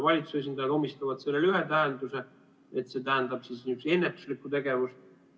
Valitsuse esindajad omistavad sellele ühe tähenduse, et see tähendab ennetuslikku tegevust.